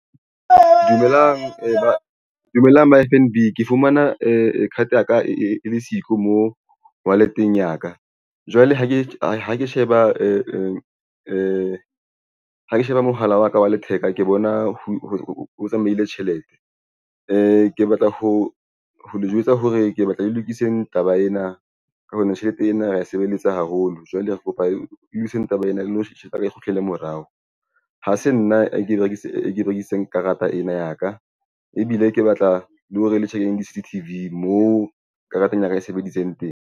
Dumelang dumelang ba F_N _B. Ke fumana e card ya ka e le siko mo wallet-eng ya ka jwale ha ke ha ke sheba ha ke sheba mohala wa ka wa letheka ke bona ho tsamaile tjhelete ke batla ho le jwetsa hore ke batla le lokiseng taba ena. Ka hobane tjhelete ena re sebeletsa haholo jwale e itseng taba ena. Na tjhelete yaka e kgutlele morao. Ha se nna ke berekisa e berekisitseng karata ena ya ka ebile ke batla le ho re le check C_C_T_V moo karata ya ka e sebeditseng teng.